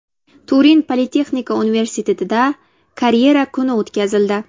Turin politexnika universitetida karyera kuni o‘tkazildi.